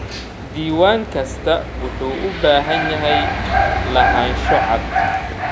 Diiwaan kastaa wuxuu u baahan yahay lahaansho cad.